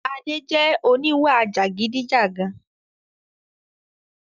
Adé jẹ oníwà jàgidijàgan